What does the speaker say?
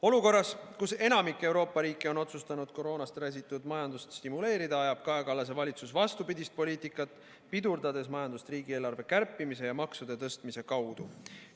Olukorras, kus enamik Euroopa riike on otsustanud koroonast räsitud majandust stimuleerida, ajab Kaja Kallase valitsus vastupidist poliitikat, pidurdades majandust riigieelarve kärpimise ja maksude tõstmise kaudu.